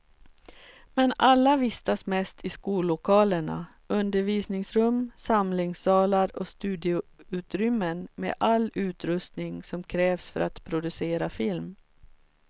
Men alla vistas mest i skollokalerna, undervisningsrum, samlingssalar och studioutrymmen med all utrustning som krävs för att producera film.